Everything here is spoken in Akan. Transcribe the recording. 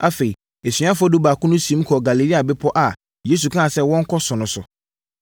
Afei, asuafoɔ dubaako no siim kɔɔ Galilea bepɔ a Yesu kaa sɛ wɔnkɔ so no so.